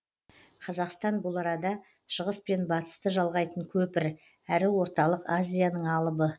қазақстан бұл арада шығыс пен батысты жалғайтын көпір әрі орталық азияның алыбы